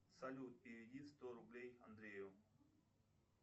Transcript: салют переведи сто рублей андрею